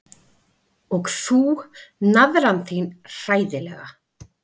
Og þú, naðran þín, hræðilega.